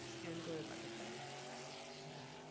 scan করে পাঠাতে হয় হ্যাঁ